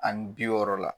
Ani bi wɔɔrɔ la